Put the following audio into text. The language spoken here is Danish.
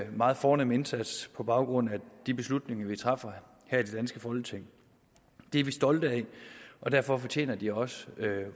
meget fornem indsats på baggrund af de beslutninger vi træffer her i det danske folketing det er vi stolte af og derfor fortjener de også